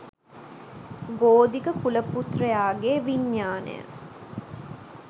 ගෝධික කුලපුත්‍රයාගේ විඤ්ඤාණය